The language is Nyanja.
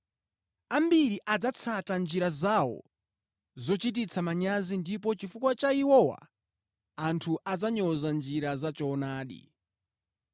Ambiri adzatsata njira zawo zochititsa manyazi ndipo chifukwa cha iwowa, anthu adzanyoza njira ya choonadi.